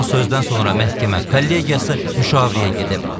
Son sözdən sonra məhkəmə kollegiyası müşavirəyə gedib.